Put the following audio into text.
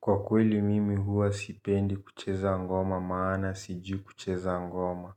Kwa kweli mimi huwa sipendi kucheza ngoma maana sijui kucheza ngoma.